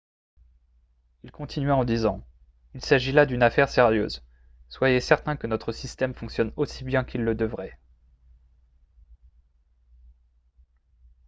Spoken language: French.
"il continua en disant "il s'agit là d'une affaire sérieuse. soyez certains que notre système fonctionne aussi bien qu'il le devrait.""